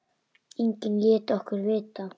Enginn lét okkur vita.